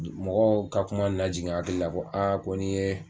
Mɔgɔw ka kuma nana jigin n hakili la ko ko n'i ye.